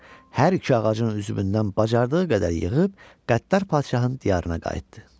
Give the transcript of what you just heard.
Hər iki ağacın üzümündən bacardığı qədər yığıb qəddar padşahın diyarına qayıtdı.